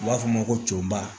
U b'a fɔ ma ko coba